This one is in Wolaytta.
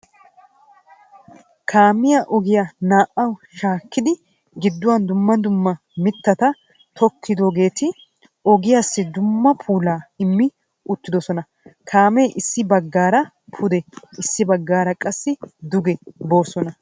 Kaamiya ogiya naa"awu shaakkidi gidduwan dumma dumma mittata tokkiidoogeti ogiyassi dumma puulaa immi uttidosona. Kaamee issi baggaara pude issi baggaara qassi duge boosona.